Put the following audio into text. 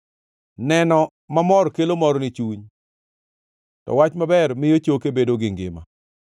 Neno mamor kelo mor ni chuny, to wach maber miyo choke bedo gi ngima.